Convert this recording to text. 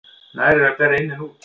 Nær er að bera inn en út.